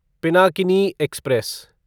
Pinakini express